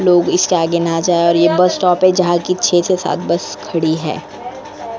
लोग इसके आगे ना जाए और यह बस स्टॉप है जहां की छह से सात बस खड़ी है ।